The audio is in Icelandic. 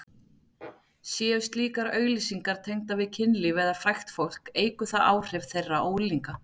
Séu slíkar auglýsingar tengdar við kynlíf eða frægt fólk eykur það áhrif þeirra á unglinga.